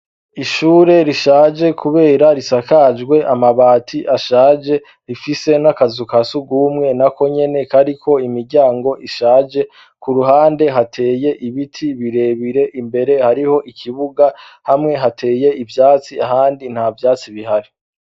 Ishure rishaje, kubera risakajwe amabati ashaje rifise n'akazuka sugumwe na ko nyene kariko imiryango ishaje ku ruhande hateye ibiti birebire imbere hariho ikibuga hamwe hateye ivyatsi ahandi nta vyatsi bihari.